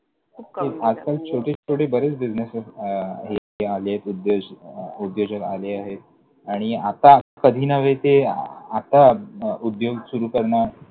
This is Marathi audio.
आजकाल छोटे छोटे बरेच businesses आलेयत, उद्योज, उद्योजक आले आहेत. आणि आता कधी नव्हे ते आता उद्योग सुरु करणार.